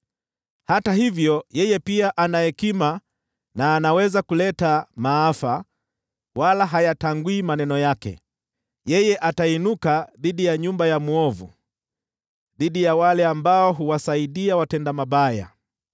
Hata hivyo yeye pia ana hekima na anaweza kuleta maafa, wala hayatangui maneno yake. Yeye atainuka dhidi ya nyumba ya mwovu, dhidi ya wale ambao huwasaidia watenda mabaya.